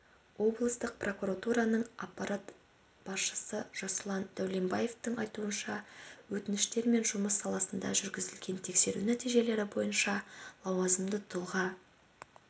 облыстық прокуратураның аппарат басшысы жасұлан дәулембаевтың айтуынша өтініштермен жұмыс саласында жүргізілген тексеру нәтижелері бойынша лауазымды тұлға